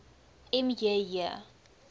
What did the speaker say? m j j